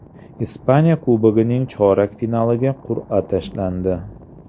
Ispaniya Kubogining chorak finaliga qur’a tashlandi.